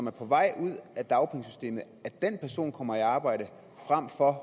er på vej ud af dagpengesystemet kommer i arbejde frem for at